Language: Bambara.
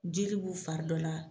Jeli b'u fari dɔ la,